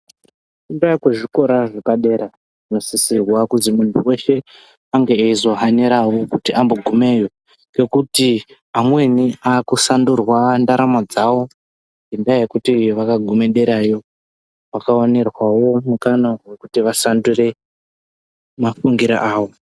Wakuzvikora zvepadera zvinosisirwa kuzi muntu weshe ange eizohanirawo kuti ambogumeyo ngekuti amweni akusandurwa ndaramo yawo ngenda yekuti vakaguma derayo vakaonerwawo mukana wekuti vasandure mafungiro awo.